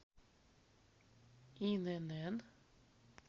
инн